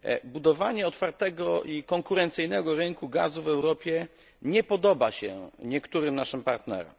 Budowanie otwartego i konkurencyjnego rynku gazu w Europie nie podoba się niektórym naszym partnerom.